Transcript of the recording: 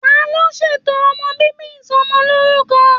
Taló ṣètò ọmọ bíbí Ìsọmọlorúkọ?